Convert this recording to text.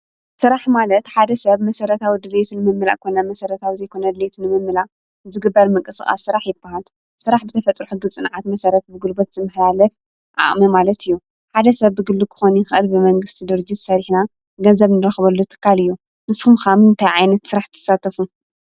ስራሕ ማለት ሓደ ሰብ መሰራታዊ ድልየቱ ንምምላእ ኮነ ዘይመሰረታዊ ድሌት ዘይምምላእ ዝግበር ምንቅስቃስ ስራሕ ይባሃል፡፡ ስራሕ ብተፈጥሮ ሕጊ ፅንዓት መሰረት ብጉልበት ዝመሓላለፍ ዓቅሚ ማለት እዩ፡፡ ሓደ ሰብ ብግሊ ክኮን ክእል ብመንግስቲ ድርጅት ሰሪሕና ገንዘብ እንረክበሉ ትካል እዩ፡፡ ንስኩም ከ ኣብ ምንታይ ዓይነት ስራሕ ትሳተፉ?